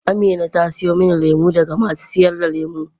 Amina ta siyo min lemu daga masu sayar da lemu.